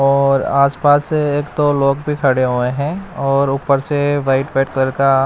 और आस पास एक दो लोग भी खड़े हुए है और ऊपर से व्हाइट व्हाइट कलर का--